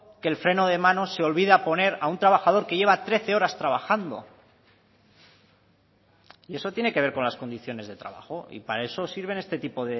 que el freno de mano se olvida poner a un trabajador que lleva trece horas trabajando y eso tiene que ver con las condiciones de trabajo y para eso sirven este tipo